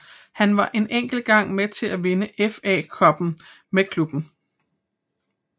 Han var en enkelt gang med til at vinde FA Cuppen med klubben